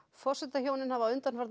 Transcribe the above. forsetahjónin hafa undanfarna